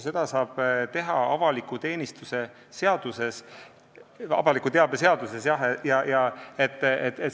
Seda saab teha avaliku teabe seaduses.